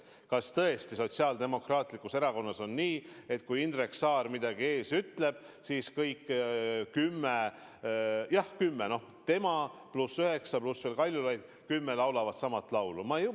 Kas tõesti Sotsiaaldemokraatlikus Erakonnas on nii, et kui Indrek Saar midagi ees ütleb, siis kõik kümme – jah, kümme: tema pluss üheksa, pluss veel Kaljulaid – laulavad sama laulu?